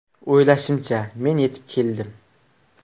O‘ylashimcha, men yetib keldim.